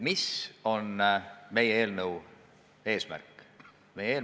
Mis on meie eelnõu eesmärk?